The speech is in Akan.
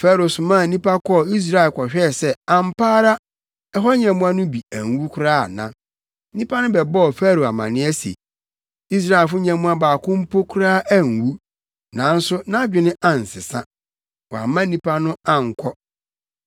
Farao somaa nnipa kɔɔ Israel kɔhwɛɛ sɛ ampa ara ɛhɔ nyɛmmoa no bi anwu koraa ana. Nnipa no bɛbɔɔ Farao amanneɛ se Israelfo nyɛmmoa baako mpo koraa anwu, nanso nʼadwene ansesa. Wamma nnipa no ankɔ.